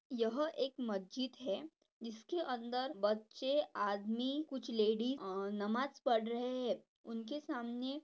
यह एक मस्जिद है जिसके अंदर बच्चे आदमी कुछ लेडी नमाज पद रहे हैं उनके सामने--